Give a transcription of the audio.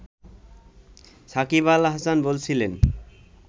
সাকিব আল হাসান বলছিলেন